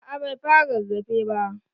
A'a bai fara rarrafe ba.